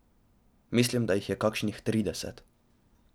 Mislim, da jih je kakšnih trideset.